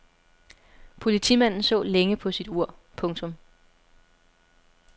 Politimanden så længe på sit ur. punktum